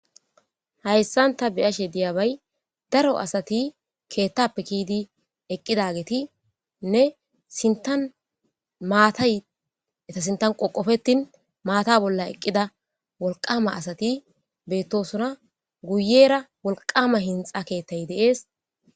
hayssan ta beyashe diyaabay daro asati keettappe kiidi eqqidagetiinne sintan maatay eta sintan qoqofetin maata bolla eqqida wolqama asati beettosuna guyera wolqama hinxa keettay de'ees